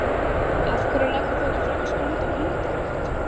Af hverju leggur þú ekki frekar stund á hundarækt?